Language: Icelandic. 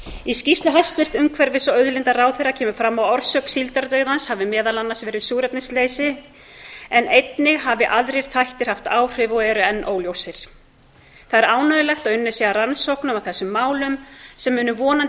í skýrslu hæstvirts umhverfis og auðlindaráðherra kemur fram að orsök síldardauðans hafi meðal annars verið súrefnisleysi en einnig hafi aðrir þættir haft áhrif og eru enn óljósir það er ánægjulegt að unnið sé að rannsóknum á þessum málum sem munu vonandi